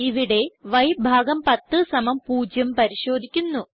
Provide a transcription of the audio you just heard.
ഇവിടെ y100 പരിശോധിക്കുന്നു